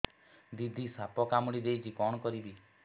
ଦିଦି ସାପ କାମୁଡି ଦେଇଛି କଣ କରିବି